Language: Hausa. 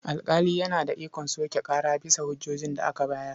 Alƙali yana da ikon soke ƙara bisa hujjojin da aka bayar.